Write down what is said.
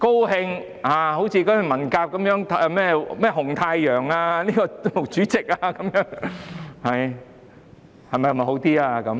好像文革時的紅太陽、毛主席那樣，會否好一點呢？